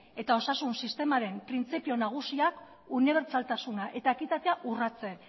eta osasun sistemaren printzipio nagusiak unibertsaltasuna eta ekitatea urratzen